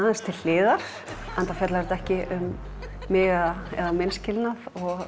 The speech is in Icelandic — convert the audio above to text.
aðeins til hliðar enda fjallar það ekki um mig og minn skilnað